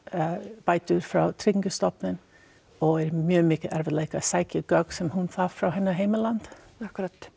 bætur frá Tryggingastofnun og er í mjög miklum erfiðleikum með að sækja gögn sem hún þarf frá hennar heimalandi akkúrat